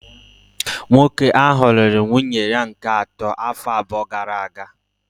Nwoke ahụ lụrụ nwunye ya nke atọ afọ abụọ gara aga